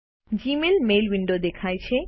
Gmail mail window દેખાય છે